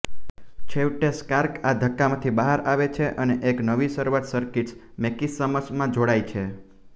છેવટે સ્ટાર્ક આ ધક્કામાંથી બહાર આવે છે અને એક નવી શરૂઆત સર્કિટ્સ મેકિસમસમાં જોડાય છે